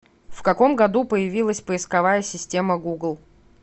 в каком году появилась поисковая система гугл